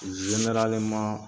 Zeneraleman